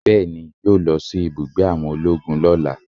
Bẹẹni, yo lọ sí ibùgbé àwọn ológun lọ́lá